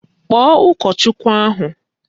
Kpọọ ụkọchukwu ahụ!